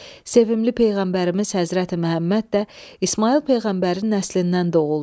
Sevimli peyğəmbərimiz Həzrəti Məhəmməd də İsmayıl peyğəmbərin nəslindən doğuldu.